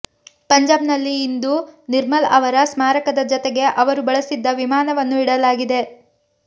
ಪಂಜಾಬ್ನಲ್ಲಿ ಇಂದು ನಿರ್ಮಲ್ ಅವರ ಸ್ಮಾರಕದ ಜತೆಗೆ ಅವರು ಬಳಸಿದ್ದ ವಿಮಾನವನ್ನೂ ಇಡಲಾಗಿದೆ